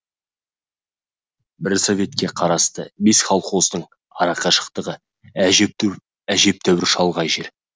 бір советке қарасты бес колхоздың ара қашықтығы әжептәуір шалғай жер